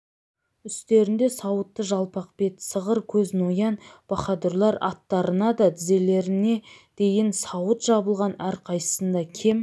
үстерінде сауытты жалпақ бет сығыр көз ноян баһадурлар аттарына да тізелеріне дейін сауыт жабылған әрқайсысында кем